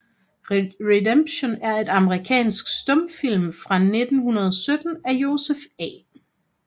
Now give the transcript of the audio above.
Redemption er en amerikansk stumfilm fra 1917 af Joseph A